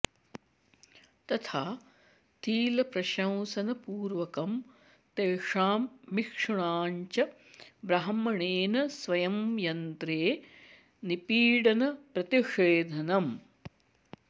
तथा तिलप्रशंसनपूर्वकं तेषां मिक्षूणां च ब्राह्मणेन स्वयं यन्त्रे निपीडनप्रतिषेधनम्